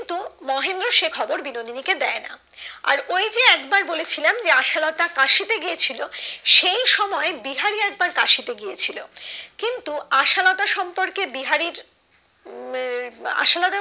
তো মহেন্দ্র সে খবর বিনোদিনী কে দেয়না আর ওই যে একবার বলেছিলাম যে আশালতা কাশিতে গিয়েছিলো সেই সময় বিহারি একবার কাশিতে গিয়েছিলো কিন্তু আশালতার সম্পর্কে বিহারীর আশালতা